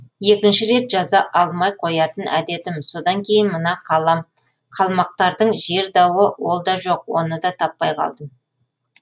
екінші рет жаза алмай қоятын әдетім содан кейін мына қалмақтардың жер дауы ол да жоқ оны да таппай қалдым